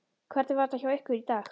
Hvernig var þetta hjá ykkur í dag?